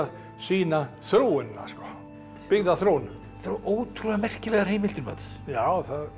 sýna þróunina byggðaþróunina þetta eru ótrúlega merkilegar heimildir Mats já